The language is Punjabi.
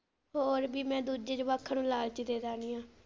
ਹੋਰ ਕਿ ਮੈ ਦੂਜੇ ਜਵਾਕਾਂ ਨੂੰ ਲਾਲਚ ਦੇ ਦਿਨੀ ਆ।